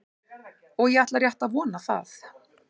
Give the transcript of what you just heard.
Og ég ætla rétt að vona það.